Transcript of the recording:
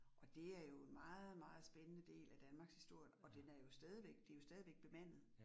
Og det er jo en meget meget spændende del af Danmarkshistorien, og den er jo stadigvæk det jo stadigvæk bemandet